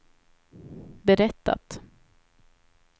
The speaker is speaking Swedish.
berättat